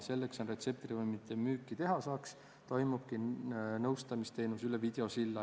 Selleks, et retseptravimi müüki teha saaks, toimubki nõustamisteenus üle videosilla.